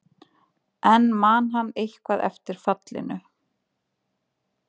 En man hann eitthvað eftir fallinu?